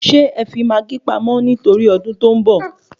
Sè é fi maágí pamọ́ nitori odun to ń bọ̀?